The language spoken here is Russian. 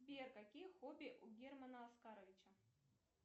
сбер какие хобби у германа оскаровича